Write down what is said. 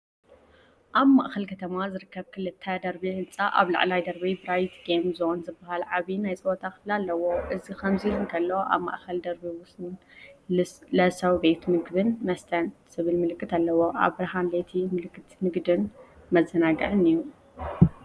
ኣብ ማእከል ከተማ ዝርከብ ክልተ ደርቢ ህንጻ ኣብ ላዕለዋይ ደርቢ 'ብራይት ጌም ዞን'ዝበሃል ዓቢ ናይ ጸወታ ክፍሊ ኣለዎ። እዚ ከምዚ ኢሉ እንከሎ፡ኣብ ማእከላይ ደርቢ'ሰው ለስው ቤት ምግብን መስተን ዝብል ምልክት ኣለዎ። ኣብ ብርሃን ለይቲ ምልክት ንግድን መዘናግዕን'ዩ።"